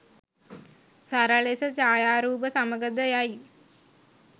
සරල ලෙස ඡායාරූප සමඟ ද යයි.